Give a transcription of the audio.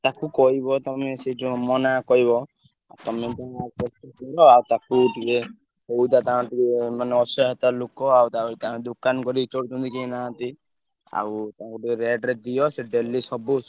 ତାକୁ କହିବ ତମେ ସେ ଯୋଉ ମୋ ନାଁ କହିବ ତମର ଆଉ ତାକୁ ଟିକେ ସଉଦା ତାଙ୍କଠୁ ମାନେ ଅସହାୟତା ଲୋକ ଆଉ ତାପରେ ତାଙ୍କ ଦୋକାନ କରି ଚଳୁଛନ୍ତି କେହି ନାହାନ୍ତି। ଆଉ ତାଙ୍କୁ ଟିକେ rate ରେ ଦିଅ ସିଏ daily ସବୁ।